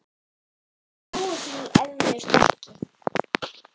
Þú trúir því eflaust ekki.